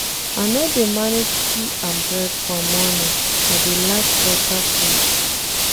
I no dey manage tea and bread for morning, I dey like beta food.